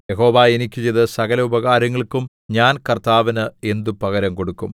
യഹോവ എനിക്ക് ചെയ്ത സകല ഉപകാരങ്ങൾക്കും ഞാൻ കർത്താവിന് എന്ത് പകരം കൊടുക്കും